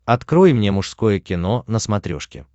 открой мне мужское кино на смотрешке